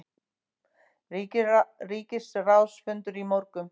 Ríkisráðsfundur í morgun